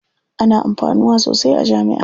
Ana amfanuwa sosai a jami'a.